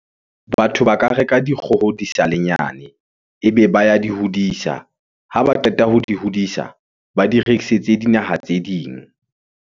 Batho ba ka reka dikgoho di sa le nyane ebe ba ya di hodisa. Ha ba qeta ho di hodisa, ba di rekisetse dinaha tse ding.